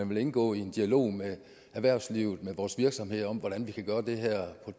vil indgå i en dialog med erhvervslivet med vores virksomheder om hvordan vi kan gøre det her